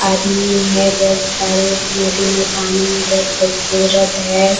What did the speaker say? आदमी हैबहोत सारे नदी में पानी भी बहोत खूबसूरत है।